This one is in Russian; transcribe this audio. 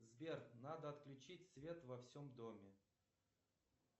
сбер надо отключить свет во всем доме